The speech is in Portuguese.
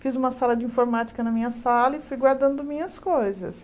Fiz uma sala de informática na minha sala e fui guardando minhas coisas.